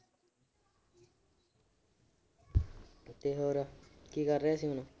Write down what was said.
ਤੇ ਹੋਰ ਕੀ ਕਰ ਰਿਹਾ ਸੀ ਹੁਣ